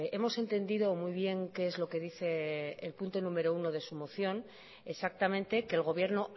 hemos entendido muy bien qué es lo que dice el punto número uno de su moción exactamente que el gobierno